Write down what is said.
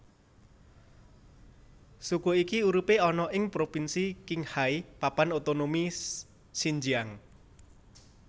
Suku iki uripe ana ing propinsi Qinghai Papan Otonomi Xinjiang